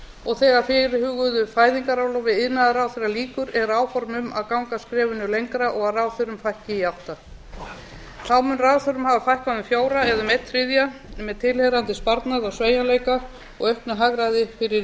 og þegar fyrirhuguðu fæðingarorlofi iðnaðarráðherra lýkur eru áform um að ganga skrefinu lengra og að ráðherra fækki í átta þá mun ráðherrum hafa fækkað um fjóra eða um einn þriðja með tilheyrandi sparnað og sveigjanleika og auknu hagræði fyrir